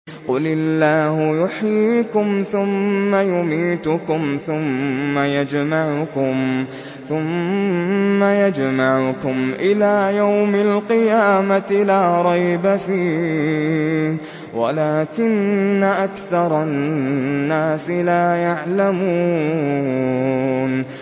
قُلِ اللَّهُ يُحْيِيكُمْ ثُمَّ يُمِيتُكُمْ ثُمَّ يَجْمَعُكُمْ إِلَىٰ يَوْمِ الْقِيَامَةِ لَا رَيْبَ فِيهِ وَلَٰكِنَّ أَكْثَرَ النَّاسِ لَا يَعْلَمُونَ